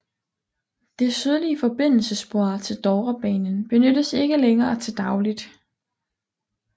Det sydlige forbindelsesspor til Dovrebanen benyttes ikke længere til dagligt